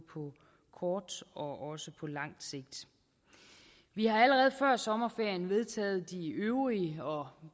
kort og lang sigt vi har allerede før sommerferien vedtaget de øvrige og